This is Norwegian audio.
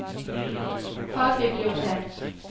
fagbibliotek